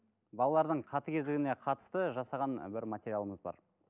балалардың қатыгездігіне қатысты жасаған бір материалымыз бар